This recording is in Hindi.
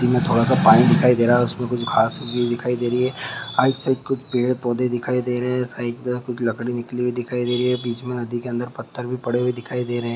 इनमे थोड़ा सा पानी दिखाई दे रहा है उसमे कुछ घास उगी दिखाई दे रही है राइट साइड कुछ पेड़-पौधे उगे हुए दिखायी दे रहे है साइड में कुछ लकड़ी निकली हुई दिखाई दे रही है बिच में नदी के अंदर कुछ पत्थर भी पड़े हुए दिखायी दे रहे है।